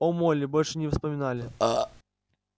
о молли больше не вспоминали